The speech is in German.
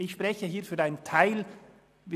Ich spreche hier für einen Teil der glp-Fraktion.